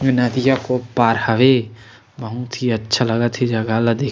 नदिया के पार हवे बहुत ही अच्छा लागत हे जगह ला देख--